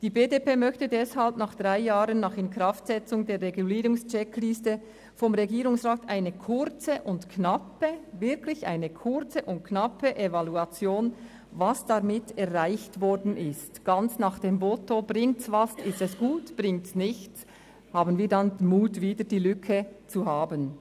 Die BDP möchte deshalb drei Jahre nach Inkraftsetzung der Regulierungs-Checkliste vom Regierungsrat eine – ich betone: kurze und knappe – Evaluation darüber, was erreicht wurde, frei nach dem Motto: Bringt es etwas, ist es gut; bringt es nichts, haben wir den Mut, die Lücke wieder zu öffnen.